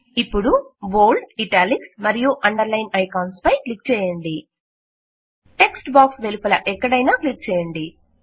ఇప్పుడు bold italics మరియు underline icons పై క్లిక్ చేయండి టెక్ట్ బాక్స్ వెలుపల ఎక్కడైనా క్లిక్ చేయండి